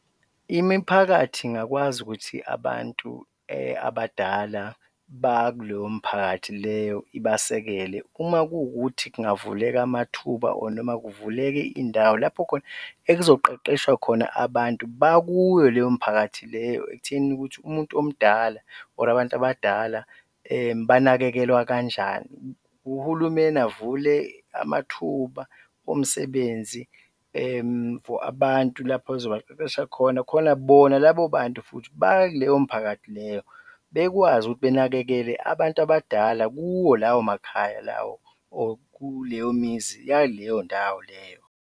Imiphakathi ingakwazi ukuthi abantu abadala bakuloyo mphakathi leyo ibasekele uma kuwukuthi kungavuleka amathuba or noma kuvuleke indawo lapho khona ekuzoqeqeshwa khona abantu bakuyo leyo mphakathi leyo ekuthenini ukuthi umuntu omdala or abantu abadala banakekelwa kanjani. Uhulumeni avule amathuba omsebenzi for abantu lapha ozobaqeqesha khona, khona bona labo bantu futhi bakuleyo mphakathi leyo bekwazi ukuthi benakekele abantu abadala kuwo lawo makhaya lawo or kuleyomizi yaleyondawo leyo.